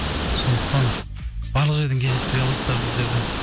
сондықтан барлық жерден кездестіре аласыздар біздерді